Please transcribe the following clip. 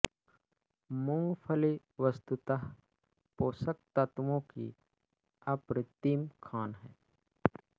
मूँगफली वस्तुतः पोषक तत्त्वों की अप्रतिम खान है